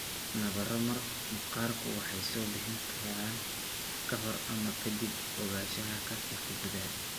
Nabaro maqaarku waxay soo bixi karaan ka hor ama ka dib ogaanshaha kansarka gudaha.